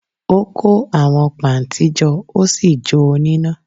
Ó kó àwọn pà ntí jo Ósì jó o n'íná